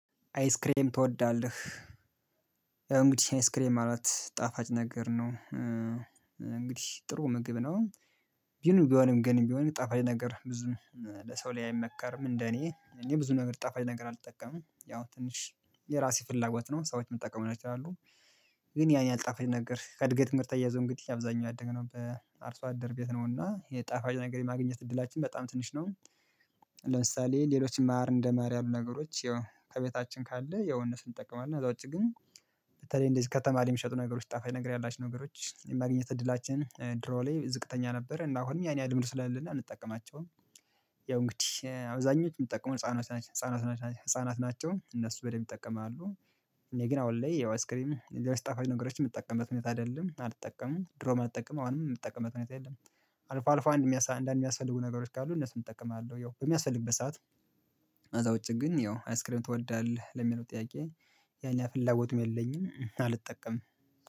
አይስክሬም ትወዳለህ? ያው እንግዲህ አይስክሬም ማለት ጣፋጭ ነገር ነው። እንግዲህ ጥሩ ምግብ ነው። ግን ቢሆንም ግን ቢሆንም ጣፋጭ ነገር ብዙም ለሰው ላይ አይመከርም እንደ እኔ እኔ ብዙ ነገር ጠፋኝ ነገር አልጠቀምም ያው ትንሽ የራሴ ፍላጎት ነው ሰዎች ሊጥቀሙ ይችላሉ። ግን ያን ያህል ጣፋጭ ነገር ከእድገትም ጋር ተያይዞ እንግዲህ አብዛኛው ያደገው በአርሶ አደር ቤት ነውና የጣፋጭ ነገር የማግኘት እድላችን በጣም ትንሽ ነው። ለምሳሌ ሌሎችም ማር እንደማር ያሉ ነገሮች ያው ከቤታችን ካለ ያው እንጠቀማለን ከዛ ውጪ ግን በተለይ እንደዚህ ከተማ ላይ የሚሸጡ ነገሮች ጣፋጭ ነገር ያላችው ነገሮች የማግኘት እድላችን ድሮ ላይ ዝቅተኛ ነበረ እና አሁንም ያን ያህል ልምድ ስለሌለን አንጠቀማቸውም። ያው እንግዲህ አብዛኞቹ የምትጠቀመው ህፃናት ህፃናት ህፃናት ናቸው እነሱ በደንብ ይጠቀማሉ። እኔ ግን አሁን ላይ ያው አይስክሪም ጣፋጭ ነገሮችን የምጠቀምበት ሁኔታ አይደለም አልጠቀምም ድሮም አልጠቀምም አሁንም የምጠቀምበት ሁኔታ የለም። አልፎ አልፎ አንድ አንድ የሚያስፈልጉ ነገሮች ካሉ እነሱን እጠቀማለሁ ያው በሚያስፈልግበት ሰዓት። ከዛ ውጪ ግን ያው አይስክሪም ትወዳለህ ለሚለው ጥያቄ ያን ያህል ፍላጎትም የለኝም አልጠቀምም።